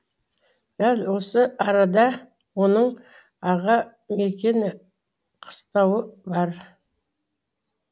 дәл осы арада оның аға мекен қыстауы бар